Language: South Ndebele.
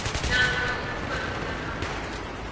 namkha ukuba sisakhamuzi